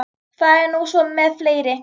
Það er nú svo með fleiri.